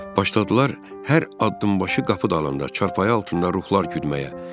Başladılar hər addımbaşı qapı dalında, çarpayı altında ruhlar güdməyə.